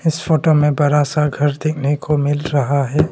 इस फोटो में बड़ा सा घर देखने को मिल रहा है।